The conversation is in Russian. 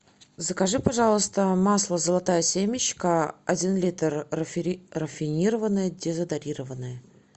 закажи пожалуйста масло золотая семечка один литр рафинированное дезодорированное